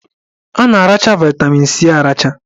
A na-aracha vaịtamin C aracha